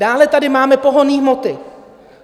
Dále tady máme pohonné hmoty.